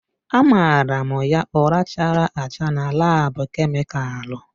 Amara m ya ụra chara acha na laabu kemịkalụ.